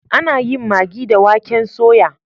Ana yin magi da waken soya.